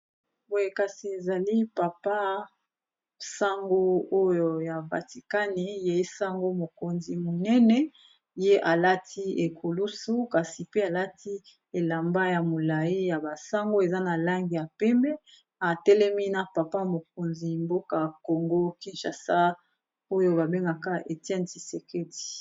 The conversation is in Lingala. Boye kasi ezali papa sango oyo ya vaticani yaesango mokonzi monene ye alati ekolusu kasi pe alati elamba ya molai ya basango eza na lange ya peme atelemi na papa mokonzi mboka congo kinchasa oyo babengaka etienne tiseqeti